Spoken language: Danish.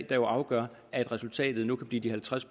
der afgør at resultatet nu kan blive de halvtreds